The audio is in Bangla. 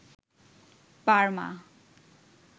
বার্মা